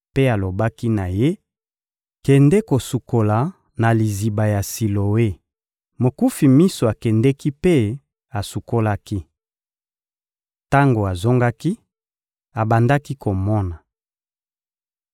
mpe alobaki na ye: — Kende kosukola na liziba ya Siloe. Mokufi miso akendeki mpe asukolaki. Tango azongaki, abandaki komona.